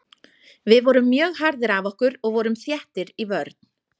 Við vorum mjög harðir af okkur og vorum þéttir í vörn.